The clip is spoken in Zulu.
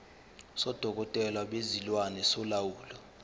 sodokotela bezilwane solawulo